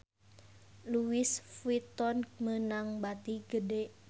Louis Vuitton meunang bati gede